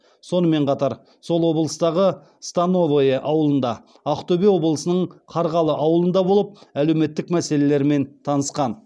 сонымен қатар сол облыстағы становое ауылында ақтөбе облысының қарғалы ауылында болып әлеуметтік мәселелерімен танысқан